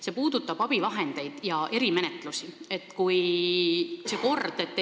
See puudutab abivahendeid ja erimenetluse korda.